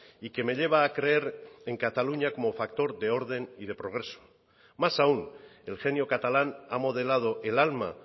y que me lleva a creer en cataluña como factor de orden y de progreso más aún el genio catalán ha modelado el alma